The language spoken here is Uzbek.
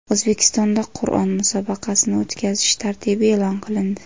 O‘zbekistonda Qur’on musobaqasini o‘tkazish tartibi e’lon qilindi.